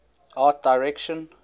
art direction